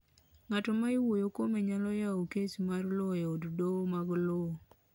ng'atno ma iwuoyo kuome nyalo yawo kes mar lowo e od doho mag lowo